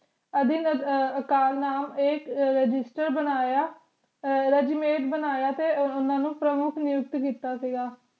ਇਕ ਰਾਸਿਸਟਰ ਬਨਾਯਾ ਤੇ ਓਨਾ ਨੂੰ ਪਮੁਖ ਨਿਯੁਕਤ ਕੀਤਾ ਸੀਗਾ